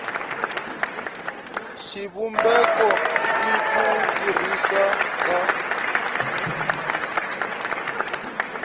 xivumbeko n ku tirhisiwa ka